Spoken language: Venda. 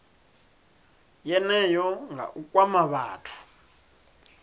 yeneyo nga u kwama vhathu